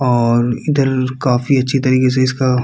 और इधर काफी अच्छे तरीके से इसका --